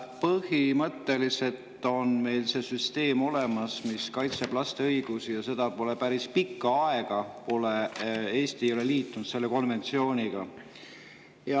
Põhimõtteliselt on meil see süsteem olemas olnud, mis kaitseb laste õigusi, ja Eesti ei ole päris pika aja jooksul selle konventsiooni liitunud.